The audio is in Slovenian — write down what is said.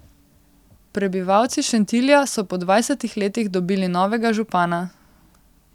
Prebivalci Šentilja so po dvajsetih letih dobili novega župana.